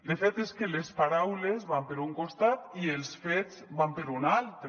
de fet és que les paraules van per un costat i els fets van per un altre